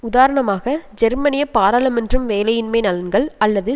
உதாரணமாக ஜெர்மனிய பாராளுமன்றம் வேலையின்மை நலன்கள் அல்லது